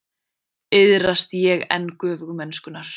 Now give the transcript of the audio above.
Iðrast ég enn göfugmennskunnar.